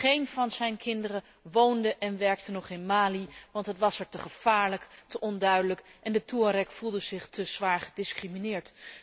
Geen van zijn kinderen woonde en werkte nog in Mali, want het was er te gevaarlijk, te onduidelijk en de Touareg voelde zich te zwaar gediscrimineerd.